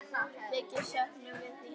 Mikið söknum við þín.